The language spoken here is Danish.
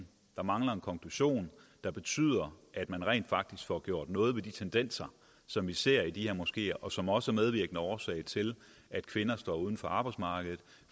der mangler en konklusion der betyder at man rent faktisk får gjort noget ved de tendenser som vi ser i de her moskeer og som også er medvirkende årsag til at kvinder står uden for arbejdsmarkedet